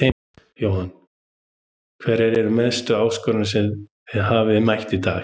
Jóhann: Hverjar eru mestu áskoranirnar sem þið hafið mætt í dag?